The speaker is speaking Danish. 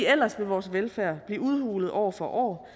ellers vil vores velfærd blive udhulet år for år